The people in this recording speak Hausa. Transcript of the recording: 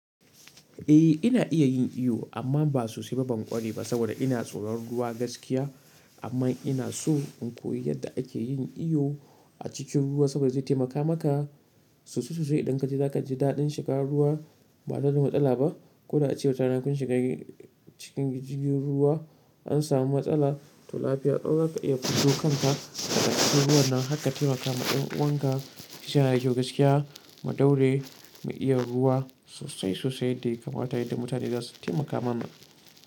Eh ina iya yin iyo amma ba sosai ba ban ƙware ba saboda ina tsoron ruwa gaskiya. Amma ina so in koyi yadda ake yin iyo a cikin ruwa saboda zai taimaka maka sosai sosai. Idan kaji za ka ji daɗin shiga ruwa ba tare da matsala ba. Ko da a ce wata rana kun shiga cikin jirgin ruwa an samu matsala to lafiya ƙalau za ka iya fito kanka daga cikin ruwa nan haka. Taimaka ma ƴan uwanka su sha rayuwa gaskiya, mu daure mu iya ruwa sosai sosai yadda ya kamata yadda mutane za su taimaka mana.